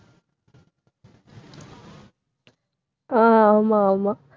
அஹ் ஆமா ஆமா